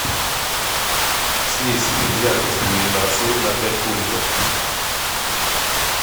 снизь яркость иллюминации на пять пунктов